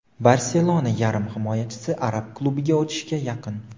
"Barselona" yarim himoyachisi arab klubiga o‘tishga yaqin.